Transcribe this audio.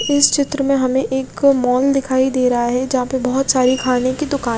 इस चित्र में हमे एक मॉल दिखाई दे रहा है जहा पे बोहोत सारे खाने की दुकाने --